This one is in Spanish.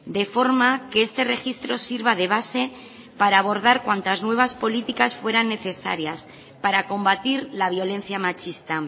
de forma que este registro sirva de base para abordar cuantas nuevas políticas fueran necesarias para combatir la violencia machista